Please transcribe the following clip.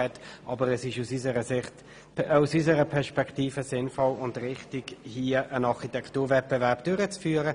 Aus unserer Sicht ist es sinnvoll und richtig, einen Architekturwettbewerb durchzuführen.